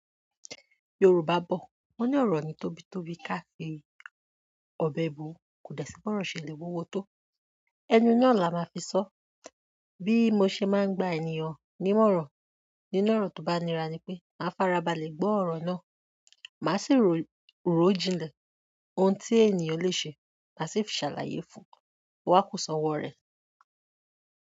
Yorùbá bọ̀, wọ́n ní ọ̀rọ̀ o ni tóbi tóbi káà fi ọbẹ̀ bu, kò dẹ̀ sí bi ọ̀rọ̀ ṣe lè wuwo tó. Ẹnu naá là máa fi sọ. Bí mo ṣe máa ń gba ènìyàn ní mòrán, nínú ọ̀rọ̀ tó bá nira ni pé, màá farabalẹ̀ gbọ́ ọ̀rọ̀ náà, màá sì rò ó jinlẹ̀ ohun tí ènìyàn le ṣe, màá sì fi ṣàlàyé fún un, o wá kú sọ̀wọ̀ rẹ̀.